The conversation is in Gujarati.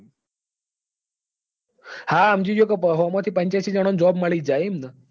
હા સમજી ગયો કે સો માંથી પંચ્યાસી જણા ને job મળી જ જાય એમ ને?